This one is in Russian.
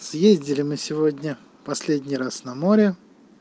ездили мы сегодня последний раз на море